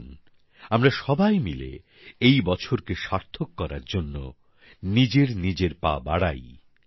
আসুন আমরা সবাই মিলে এই বছর কে সার্থক করার জন্য নিজের নিজের পা বাড়াই